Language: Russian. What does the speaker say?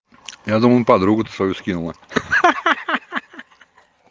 я думал подругу ты свою скинула ха-ха